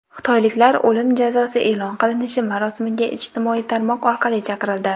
Xitoyliklar o‘lim jazosi e’lon qilinishi marosimiga ijtimoiy tarmoq orqali chaqirildi.